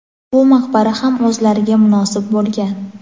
Bu maqbara ham o‘zlariga munosib bo‘lgan.